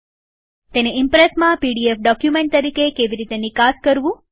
તેને ઈમ્પ્રેસમાં PDF document તરીકે કેવી રીતે નિકાસ કરવું